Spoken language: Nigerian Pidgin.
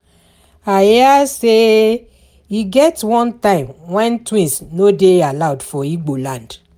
I hear say e get one time wen twins no dey allowed for Igbo land